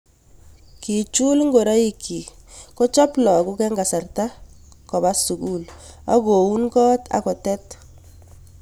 Kechul ngoroikchi, kochob lagok eng kasarta Koba sukul akoun kot akotet